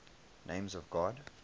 names of god